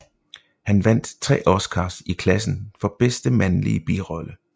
Han vandt tre Oscars i klassen for bedste mandlige birolle